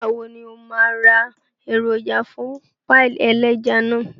Nígbà wo ní o máa ra èròjà fún páì ẹlẹ́ja náà